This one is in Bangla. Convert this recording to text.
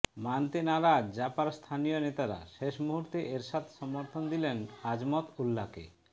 মানতে নারাজ জাপার স্থানীয় নেতারা শেষ মুহূর্তে এরশাদ সমর্থন দিলেন আজমত উল্লাকে